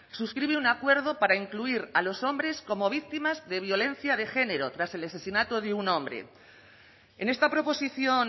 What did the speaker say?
suscribe un acuerdo para incluir a los hombres como víctimas de violencia de género tras el asesinato de un hombre en esta proposición